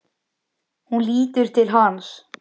Hún lítur til hans.